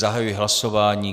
Zahajuji hlasování.